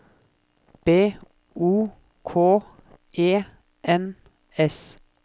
B O K E N S